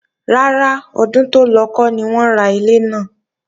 Rárá, ọdún tó lọ kọ́ ni wọ́n ra ilé náà